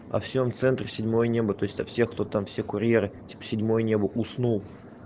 а всем центр седьмое небо то есть всех кто там все курьеры седьмое небо уснул